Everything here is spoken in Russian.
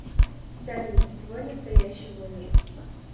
салют твой настоящий возраст